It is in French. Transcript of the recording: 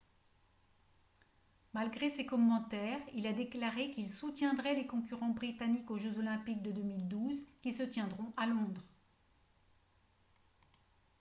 malgré ses commentaires il a déclaré qu'il soutiendrait les concurrents britanniques aux jeux olympiques de 2012 qui se tiendront à londres